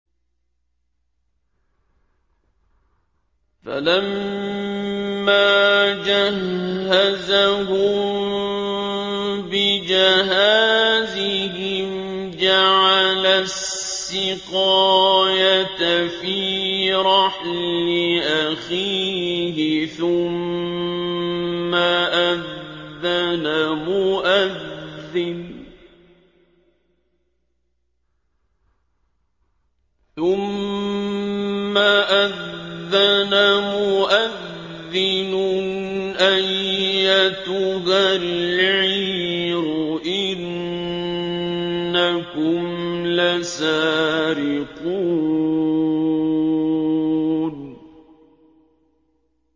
فَلَمَّا جَهَّزَهُم بِجَهَازِهِمْ جَعَلَ السِّقَايَةَ فِي رَحْلِ أَخِيهِ ثُمَّ أَذَّنَ مُؤَذِّنٌ أَيَّتُهَا الْعِيرُ إِنَّكُمْ لَسَارِقُونَ